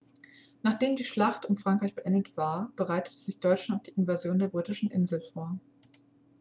nachdem die schlacht um frankreich beendet war bereitete sich deutschland auf die invasion der britischen insel vor